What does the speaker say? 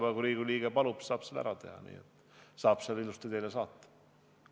Aga kui Riigikogu liige palub, siis saab selle ära teha ja ilusti teile saata.